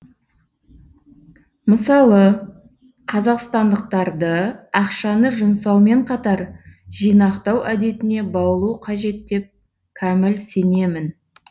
мысалы қазақстандықтарды ақшаны жұмсаумен қатар жинақтау әдетіне баулу қажет деп кәміл сенемін